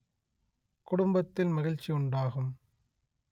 குடும்பத்தில் மகிழ்ச்சி உண்டாகும்